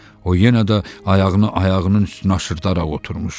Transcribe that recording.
O yenə də ayağını ayağının üstünə aşırdaraq oturmuşdu.